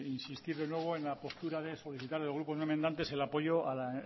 insistir de nuevo en la postura de solicitar al grupo no enmendantes el apoyo a la